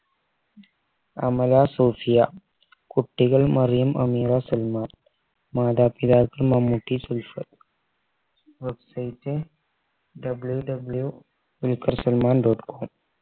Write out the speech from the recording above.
അമല സൂഫിയ കുട്ടികൾ മറിയം അമീറ സൽമാൻ മാതാപിതാക്കൾ Mammootty Sulfath websiteWWW Dulquer Salmaan dot com